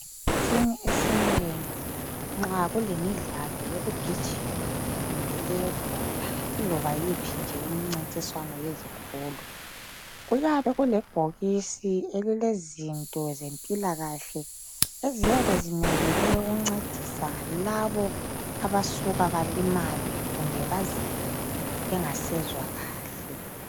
Esikhathini esinengi nxa kulemidlalo yokugijima kumbe eyebhola iloba yiphi imcintiswano yezikolo kuyabe kulebhokisi elilezinto zempilakahle ezinye bezimele ukuncedisa labo abasuka balimale bazizwe bengasezwa kuhle.